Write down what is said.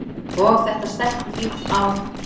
Og þetta stelpufífl á